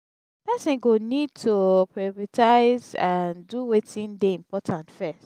person go need to pripritize and do wetin dey important first